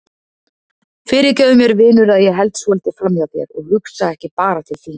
Fyrirgefðu mér vinur að ég held svolítið framhjá þér og hugsa ekki bara til þín.